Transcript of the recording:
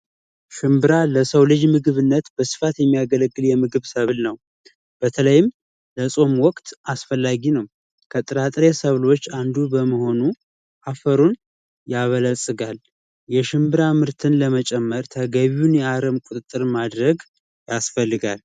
ሽንብራ ለሰው ልጅ ምግብነት በስፋት የሚያገለግል ሰብል ነው። በተለይም ለጾም ወቅት አስፈላጊ ነው። ከጥራጥሬ ምግቦች ውስጥ አንዱ በመሆኑ አፈሩን ያበለፅጋል፣ የሽንብራ ምርትን መጨመር ተገቢውን የአረም ቁጥጥር ማድረግ ያስፈልጋል።